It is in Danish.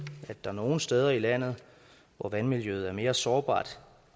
at der er nogle steder i landet hvor vandmiljøet er mere sårbart